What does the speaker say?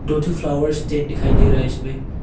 दो ठो flower stand दिखाई दे रहा है इसमें।